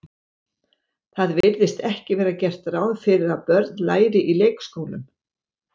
Það virðist ekki vera gert ráð fyrir að börn læri í leikskólum.